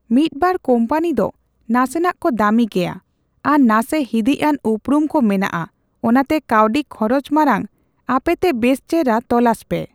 ᱢᱤᱫᱵᱟᱨ ᱠᱳᱢᱯᱟᱱᱤ ᱫᱚ ᱱᱟᱥᱮᱱᱟᱜ ᱠᱚ ᱫᱟᱢᱤ ᱜᱮᱭᱟ ᱟᱨ ᱱᱟᱥᱮ ᱦᱤᱫᱤᱡ ᱟᱱ ᱩᱯᱨᱩᱢ ᱠᱚ ᱢᱮᱱᱟᱜᱼᱟ ᱚᱱᱟᱛᱮ ᱠᱟᱣᱰᱤ ᱠᱷᱚᱨᱚᱪ ᱢᱟᱲᱟᱝ ᱟᱯᱮᱛᱮ ᱵᱮᱥ ᱪᱮᱦᱨᱟ ᱛᱚᱞᱟᱥ ᱯᱮ ᱾